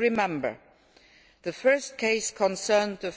As you will recall, the first case concerned the